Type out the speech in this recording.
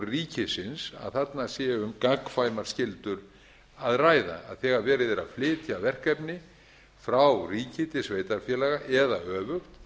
ríkisins að þarna sé um gagnkvæmar skyldur að ræða þegar verið er að flytja verkefni frá ríki til sveitarfélaga eða öfugt